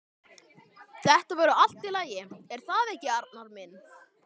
Þetta verður allt í lagi, er það ekki, Arnar minn?